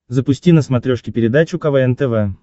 запусти на смотрешке передачу квн тв